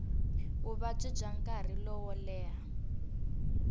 vuvabyi bya nkarhi lowo leha